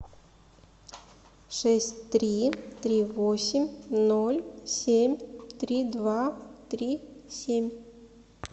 шесть три три восемь ноль семь три два три семь